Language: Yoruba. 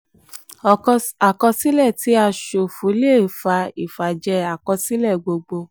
àkọsílẹ um tí a ṣòfò a ṣòfò le fà ìfàjẹ àkọsílẹ̀ gbogbo.